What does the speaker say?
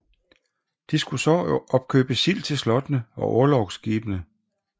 De skulle så opkøbe sild til slottene og orlogsskibene